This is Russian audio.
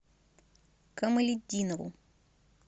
камалетдинову